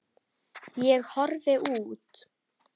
Ég horfi út.